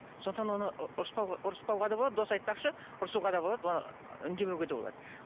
сондықтан оны ұрыспауға да болады досы айтпақшы ұрсуға да болады оны үндемеуге де болады